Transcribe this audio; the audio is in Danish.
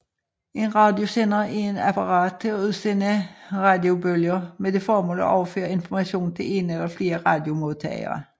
En radiosender er et apparat til at udsende radiobølger med det formål at overføre information til en eller flere radiomodtagere